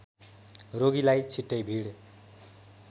रोगीलाई छिटै भिड